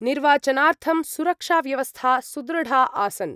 निर्वाचनार्थं सुरक्षाव्यवस्था सुदृढा आसन्।